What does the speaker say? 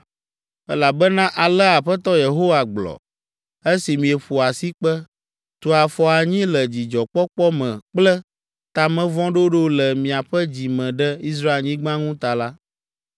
Elabena alea Aƒetɔ Yehowa gblɔ: esi mieƒo asikpe, tu afɔ anyi le dzidzɔkpɔkpɔ me kple ta me vɔ̃ ɖoɖo le miaƒe dzi me ɖe Israelnyigba ŋu ta la,